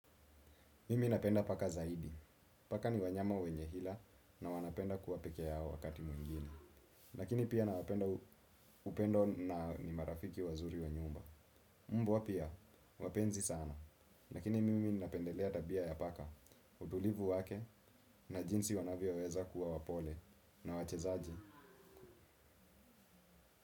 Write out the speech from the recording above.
Mimi napenda paka zaidi. Paka ni wanyama wenye hila na wanapenda kuwa pekea yao wakati mwingine. Lakini pia ana upendo na ni marafiki wazuri wa nyumba. Mbwa pia, wapenzi sana. Lakini mimi napendelea tabia ya paka, utulivu wake na jinsi wanavyo weza kuwa wapole na wachezaji.